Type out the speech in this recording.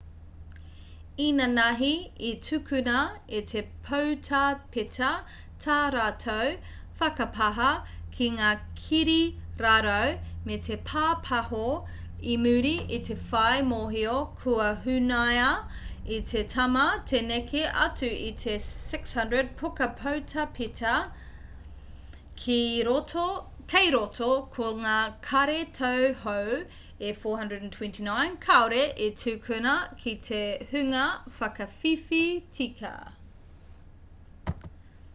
inanahi i tukuna e te poutāpeta tā rātou whakapāha ki ngā kirirarau me te pāpaho i muri i te whai mōhio kua hunaia e te tama te neke atu i te 600 puka poutāpeta kei roto ko ngā kāri tau hou e 429 kāore i tukuna ki te hunga whakawhiwhi tika